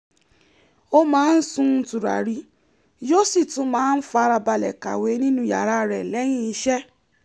ó máa ń sun tùràrí yóó sì tú máa ń farabalẹ̀ kàwé nínú yàrá rẹ̀ lẹ́yìn iṣẹ́